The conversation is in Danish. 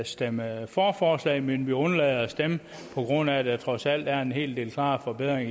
stemme for forslaget men undlader at stemme på grund af at der trods alt er en hel del klare forbedringer i